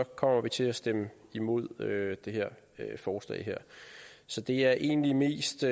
kommer vi til at stemme imod det her forslag så det er egentlig mest